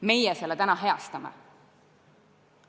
Meie selle täna heastame.